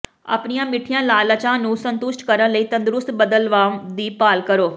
ਆਪਣੀਆਂ ਮਿੱਠੀਆਂ ਲਾਲਚਾਂ ਨੂੰ ਸੰਤੁਸ਼ਟ ਕਰਨ ਲਈ ਤੰਦਰੁਸਤ ਬਦਲਵਾਂ ਦੀ ਭਾਲ ਕਰੋ